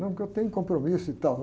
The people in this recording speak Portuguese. Não, porque eu tenho compromisso e tal.